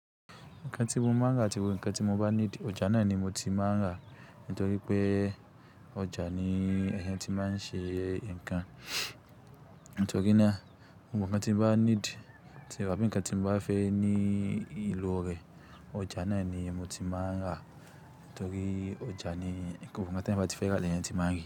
Ǹkan tí mo ma ń rà àti gbogbo ǹkan tí mo bá need, ọjà nani mo ti ń ma ń rà. Nítoripé ọjà ni moti man ṣe nǹkan. Nítorínà gbogbo nǹkan tí bá need tàbí nǹkan tí bá fẹ́ ní ìlò rẹ̀. Ọjà ná ni moti ma ń rà nítorí ọjà ni ǹkan gbogb tí èyàn bá ti fẹ́ rà léyàn ti ma rí.